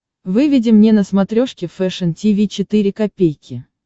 выведи мне на смотрешке фэшн ти ви четыре ка